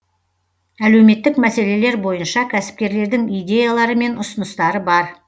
әлеуметтік мәселелер бойынша кәсіпкерлердің идеялары мен ұсыныстары бар